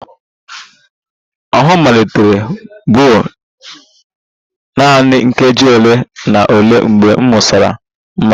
Ọhụụ m malitere blur nanị nkeji ole na ole mgbe m ṅụsịrị mmanya